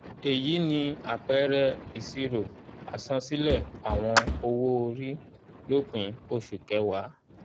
èyí ni àpẹẹrẹ ìṣirò àsansílẹ̀ àwọn owo-ori lópin oṣu kẹwàá.